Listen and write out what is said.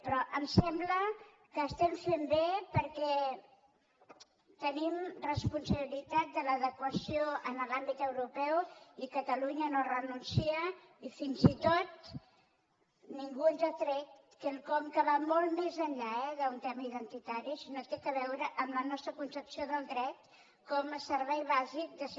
però em sembla que estem fent bé perquè tenim responsabilitat en l’adequació a l’àmbit europeu i catalunya no hi renuncia i fins i tot ningú ens ha tret quelcom que va molt més enllà eh d’un tema identitari sinó que té a veure amb la nostra concepció del dret com a servei bàsic de ciutadania